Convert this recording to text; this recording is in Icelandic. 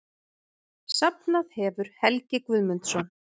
Safnað hefur Helgi Guðmundsson.